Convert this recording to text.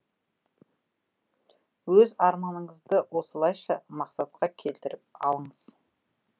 өз арманыңызды осылайша мақсатқа келтіріп алыңыз